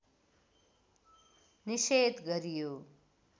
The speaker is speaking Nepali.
निषेध गरियो